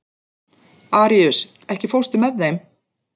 Aríus, ekki fórstu með þeim?